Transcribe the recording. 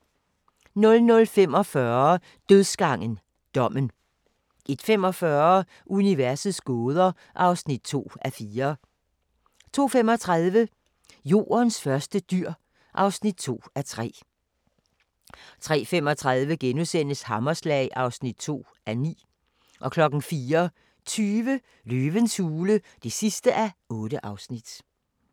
00:45: Dødsgangen – Dommen 01:35: Universets gåder (2:4) 02:35: Jordens første dyr (2:3) 03:35: Hammerslag (2:9)* 04:20: Løvens hule (8:8)